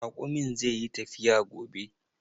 Raƙumin zai yi tafiya gobe.